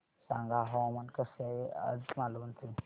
सांगा हवामान कसे आहे आज मालवण चे